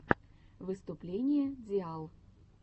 выступление диал